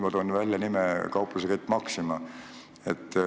Ma toon välja nime – kauplusekett Maxima.